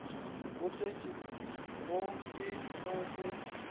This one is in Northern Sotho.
bo hlotšwego ke go se